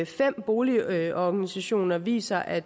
fem boligorganisationer viser at